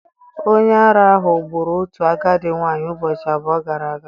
Onye ara ahụ gburu otu agadi nwanyị ụbọchị abụọ gara aga.